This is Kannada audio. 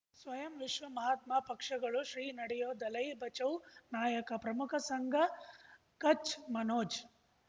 ಸ್ವಯಂ ವಿಶ್ವ ಮಹಾತ್ಮ ಪಕ್ಷಗಳು ಶ್ರೀ ನಡೆಯೂ ದಲೈ ಬಚೌ ನಾಯಕ ಪ್ರಮುಖ ಸಂಘ ಕಚ್ ಮನೋಜ್